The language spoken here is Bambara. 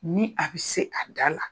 Ni a bɛ se a da la